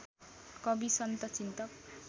कवि सन्त चिन्तक